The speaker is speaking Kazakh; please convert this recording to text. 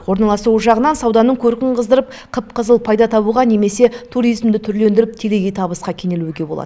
орналасуы жағынан сауданың көркін қыздырып қып қызыл пайда табуға немесе туризмді түрлендіріп телегей табысқа кенелуге болады